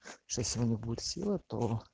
что сегодня будет сила то